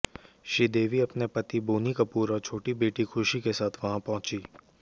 श्रीदेवी अपने पति बोनी कपूर और छोटी बेटी खुशी के साथ वहां पहुंची